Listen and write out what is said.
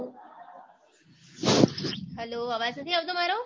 hello અવાજ નથી આવતો મારો